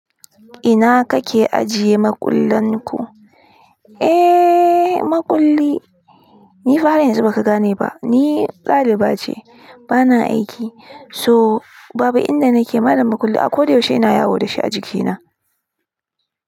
Ina kake ajiye makullan ku? Eh, makulli ni fa har yanzu baka gane ba. Ni daliba ce, bana aiki. So babu inda nake ma da makulli, a ko da yaushe ina yawo da shi a jikina.